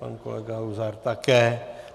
Pan kolega Luzar také.